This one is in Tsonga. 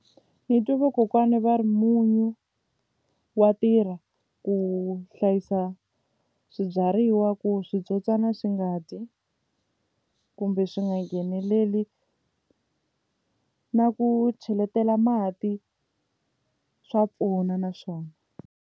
Ni twe vakokwana va ri munyu wa tirha ku hlayisa swibyariwa ku switsotswana swi nga dyi kumbe swi nga ngheneleli na ku cheletela mati swa pfuna na swona.